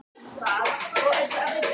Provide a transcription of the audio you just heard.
Grófstu hann upp á Borginni?